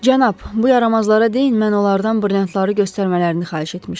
Cənab, bu yaramazlara deyin mən onlardan brilyantları göstərmələrini xahiş etmişdim.